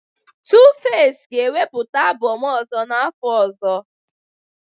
Tuface ga-ewepụta album ọzọ n'afọ ọzọ